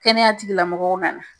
Kɛnɛya tigila mɔgɔw nana